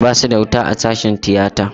Basu da wuta a sashen tiyata.